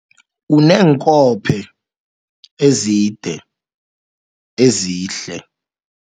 Uneenkophe ezide ezihle.